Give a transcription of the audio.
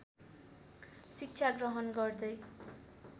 शिक्षा ग्रहण गर्दै